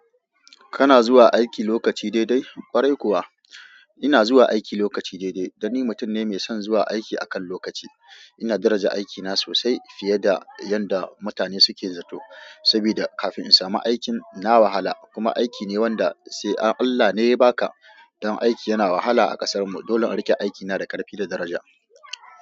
Kana zuwa aiki lokaci daidai? Kwarai kuwa ina zuwa aiki lokaci daidai, dan ni mutum ne mai son zuwa aiki akan lokaci. Ina daraja aikina sosai fiye da yanda mutane suke zato. Saboda kafin in samu aikin na wahala, kuma aiki ne wanda sai Allah ne ya baka. Don aiki yana wahala a kasar mu. Dolon in rike aikina da karfi da daraja.